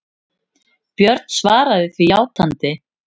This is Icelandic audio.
Björn svaraði því játandi.